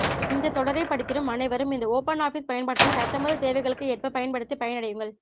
இந்த தொடரை படித்திடும் அனைவரும் இந்த ஓப்பன்ஆஃபிஸ் பயன்பாட்டினை தத்தமது தேவைகளுக்கு ஏற்ப பயன்படுத்தி பயனடையுங்கள்